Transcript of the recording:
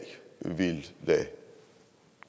vil lade